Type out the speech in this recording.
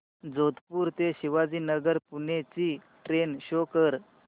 जोधपुर ते शिवाजीनगर पुणे ची train show कर